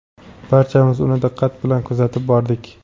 barchamiz uni diqqat bilan kuzatib bordik.